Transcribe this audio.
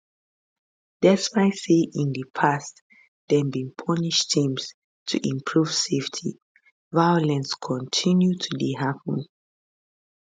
despite say in di past dem bin punish teams to improve safety violence kontinu to dey happun